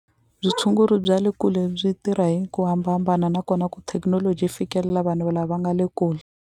bya le kule byi tirha hi ku hambahambana nakona ku thekinoloji yi fikelela vanhu lava nga le kule.